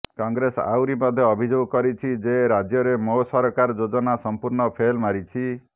କଂଗ୍ରେସ ଆହୁରି ମଧ୍ୟ ଅଭିଯୋଗ କରିଛି ଯେ ରାଜ୍ୟରେ ମୋ ସରକାର ଯୋଜନା ସମ୍ପୂର୍ଣ୍ଣ ଫେଲ୍ ମାରିଛି